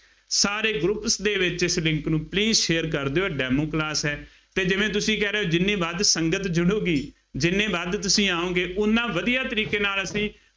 ਸਾਰੇ groups ਦੇ ਵਿੱਚ ਇਸ link ਨੂੰ please share ਕਰ ਦਿਉ, ਇਹ demo class ਹੈ ਅਤੇ ਜਿਵੇਂ ਤੁਸੀਂ ਕਹਿ ਰਹੇ ਹੋ ਜਿੰਨੀ ਵੱਧ ਸੰਗਤ ਜੁੜੂਗੀ, ਜਿੰਨੇ ਵੱਧ ਤੁਸੀਂ ਆਉਂਗ, ਉੱਨਾ ਵਧੀਆਂ ਤਰੀਕੇ ਨਾਲ ਅਸੀਂ